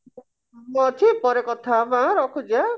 ମୁଁ ଅଛି ପରେ କଥା ହବା ଆଁ ରଖୁଛି ଆଁ